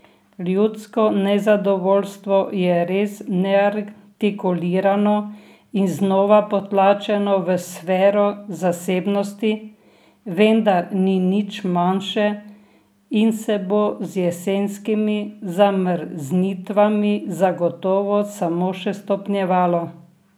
Ljudsko nezadovoljstvo je res neartikulirano in znova potlačeno v sfero zasebnosti, vendar ni nič manjše in se bo z jesenskimi zamrznitvami zagotovo samo še stopnjevalo.